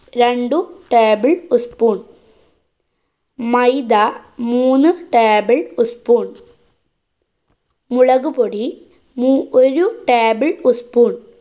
രണ്ടു table ഉസ് spoon. മൈദ മൂന്നു table ഉസ് spoon. മുളകുപൊടി മൂ~ ഒരു table ഉസ് spoon.